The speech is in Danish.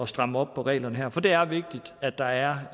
stramme op på reglerne her for det er vigtigt at der er